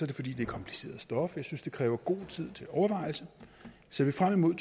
det fordi det er kompliceret stof og jeg synes det kræver god tid til overvejelse ser vi frem imod